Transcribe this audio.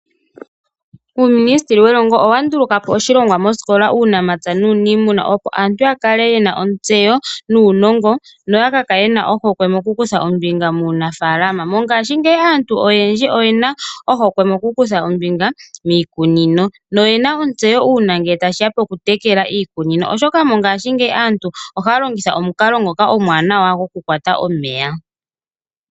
Uuministeli welongo owandulukapo oshilongwa moosikola uunamapya nuuniimuna , opo aantu yakale yena ontseyo nuunongo noyakakale yena ohokwe mokutha ombinga muunafaalama. Mongashingeyi aantu oyendji oyena ohokwe mokukutha ombinga miikununo. Oyena ontseyo uuna ngele tashiya kokutekela iikunino, oshoka aantu mongashingeyi ohaya longitha omukalo omwaanawa gokukwata omeya.